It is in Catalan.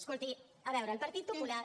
escolti a veure el partit popular